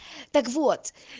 так вот